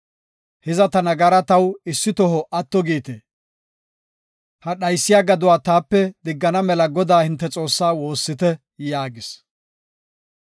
Hiza ta nagara taw issi toho atto giite. Ha dhaysiya gaduwa taape diggana mela Godaa hinte Xoossaa woossite” yaagis.